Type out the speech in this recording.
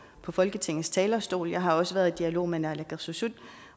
fra folketingets talerstol jeg har også været i dialog med naalakkersuisut